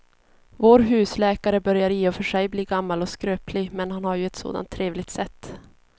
Vår husläkare börjar i och för sig bli gammal och skröplig, men han har ju ett sådant trevligt sätt!